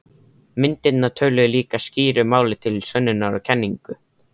Myndirnar töluðu líka skýru máli til sönnunar á kenningum